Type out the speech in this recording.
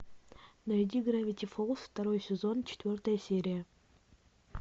найди гравити фолз второй сезон четвертая серия